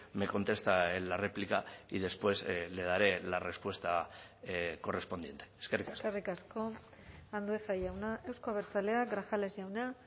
me contesta en la réplica y después le daré la respuesta correspondiente eskerrik asko eskerrik asko andueza jauna euzko abertzaleak grajales jauna